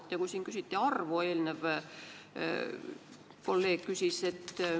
Eelmine kolleeg küsis siin arvu kohta.